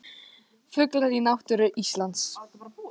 Fuglar í náttúru Íslands.